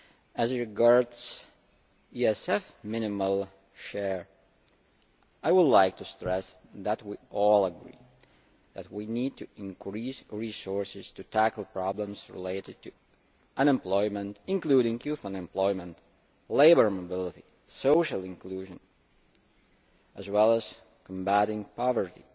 As regards the ESF minimal share, I would like to stress that we all agree that we need to increase resources to tackle problems relating to unemployment, including youth unemployment, labour mobility and social inclusion as well as combating poverty.